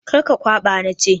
Kar ka kwaɓa na ce!